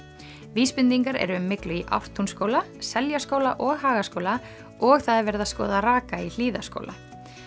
vísbendingar eru um myglu í Ártúnsskóla Seljaskóla og Hagaskóla og það er verið að skoða raka í Hlíðaskóla